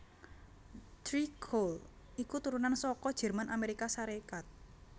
Tré Cool iku turunan saka Jerman Amerika Sarékat